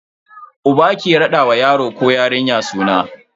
Uba ke rada wa yaro ko yarinya suna.